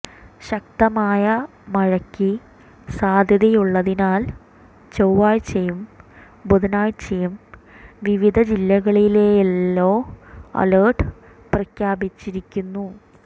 ശക്തമായ മഴയ്ക്ക് സാധ്യതയുള്ളതിനാൽ ചൊവ്വാഴ്ചയും ബുധനാഴ്ചയും വിവിധ ജില്ലകളില് യെല്ലോ അലര്ട്ട് പ്രഖ്യാപിച്ചിരിക്കുന്നു